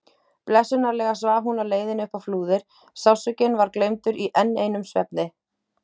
Blessunarlega svaf hún á leiðinni upp á Flúðir, sársaukinn var gleymdur í enn einum svefni.